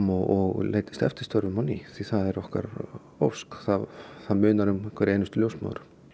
og leitist eftir störfum á ný það er okkar ósk það munar um hverja einustu ljósmóður